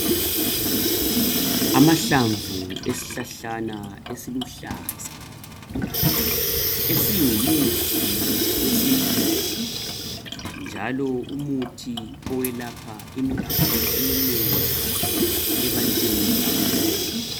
Amahlamvu esihlahlana esiluhlaza. Esingumuthi esintwini. Njalo umuthi owelapha imikhuhlane eminengi ebantwini abangezwa kuhle.